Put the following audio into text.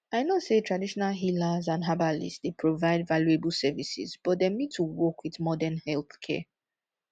i know say traditional healers and herbalists dey provide valuable services but dem need to work with modern healthcare